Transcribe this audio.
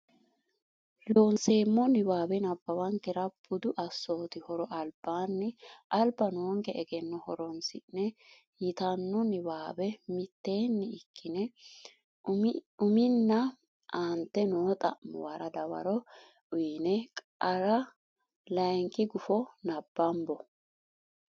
Loonseemmo niwaawe nabbawankera Budu Assooti Horo albaanni alba noonke egenno horonsi ne yitanno niwaawe mitteenni ikkine uminna aante noo xa muwara dawaro uyne qara layinki guffa nabbambo.